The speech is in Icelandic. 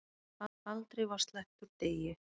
Aldrei var sleppt úr degi.